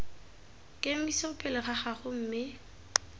kemiso pele ga gago mme